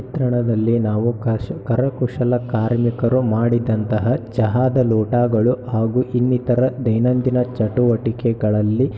ಚಿತ್ರಣದಲ್ಲಿ ನಾವು ಕಶ-ಕರಕುಶಲ ಕಾರ್ಮಿಕರು ಮಾಡಿದಂತಹ ಚಹಾದ ಲೋಟಗಳು ಹಾಗು ಇನ್ನಿತರ ದೈನಂದಿನ ಚಟುವಟಿಕೆಗಳಲ್ಲಿ--